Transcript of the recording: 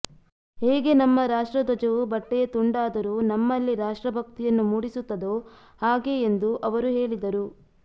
ಹೇಗೆ ನಮ್ಮ ರಾಷ್ಟ್ರ ಧ್ವಜವು ಬಟ್ಟೆಯ ತುಂಡಾದರೂ ನಮ್ಮಲ್ಲಿ ರಾಷ್ಟ್ರ ಭಕ್ತಿಯನ್ನು ಮೂಡಿಸುತ್ತದೋ ಹಾಗೆ ಎಂದು ಅವರು ಹೇಳಿದರು